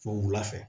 Fo wula fɛ